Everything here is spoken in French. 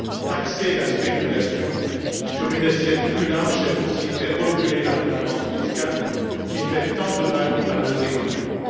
Taxer la spéculation sur une assiette plus large, c'est aussi faire reculer la concurrence fiscale, qui fait tant de mal à nos économies.